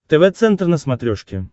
тв центр на смотрешке